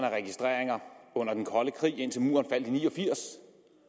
af registreringer under den kolde krig indtil muren faldt ni og firs